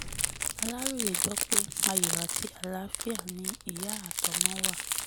aláròye gbọ́ pé ayọ̀ àti àlàáfíà ni ìyá àtọmọ wa